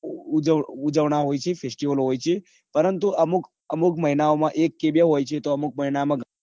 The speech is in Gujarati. ઉજવણી હોય છે ખ્રિસ્તીઓના પણ હોય છે અમુક મહિનામાં એક કે બે હોય છે